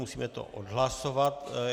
Musíme to odhlasovat.